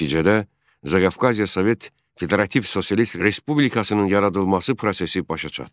Nəticədə Zaqafqaziya Sovet Federativ Sosialist Respublikasının yaradılması prosesi başa çatdı.